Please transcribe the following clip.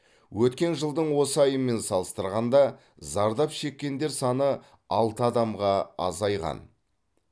өткен жылдың осы айымен салыстырғанда зардап шеккендер саны алты адамға азайған